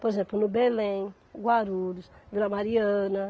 Por exemplo, no Belém, Guarulhos, Vila Mariana.